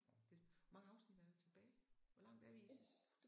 Det hvor mange afsnit er der tilbage? Hvor lang er vi i